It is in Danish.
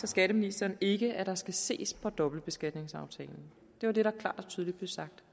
skatteministeren ikke at der skal ses på dobbeltbeskatningsaftalen det var det der klart og tydeligt blev sagt